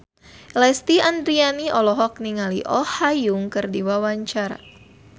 Lesti Andryani olohok ningali Oh Ha Young keur diwawancara